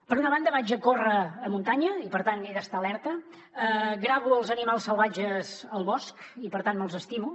per una banda vaig a córrer a muntanya i per tant he d’estar alerta gravo els animals salvatges al bosc i per tant me’ls estimo